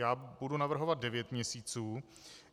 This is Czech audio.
Já budu navrhovat devět měsíců.